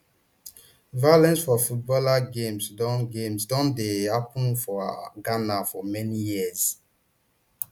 violence for football games don games don dey happun for ghana for many years